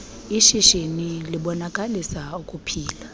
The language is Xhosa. ishishini libonakalisa ukuphila